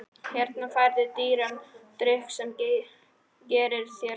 Hérna færðu dýran drykk sem gerir þér gott.